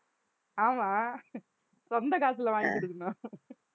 ஆமாம் சொந்தக் காசுல வாங்கிக் கொடுக்கணும்